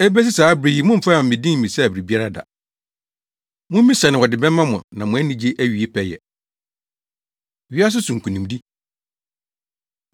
Ebesi saa bere yi momfaa me din mmisaa biribiara da. Mummisa na wɔde bɛma mo na mo anigye awie pɛyɛ. Wiase So Nkonimdi